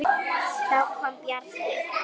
Þá kom Bjarni.